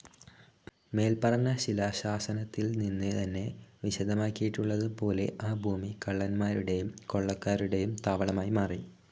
മേൽപ്പറഞ്ഞ ശിലാശാസനത്തിൽ നിന്ന് തന്നെ വിശദമാക്കിയിട്ടുള്ളത് പോലെ ആ ഭൂമി കള്ളൻമാരുടെയും കൊള്ളക്കാരുടെയും താവളമായി മാറി.